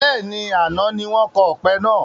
Bẹ́ẹ̀ni, àná wọn ni kọ́ ọpẹ náà.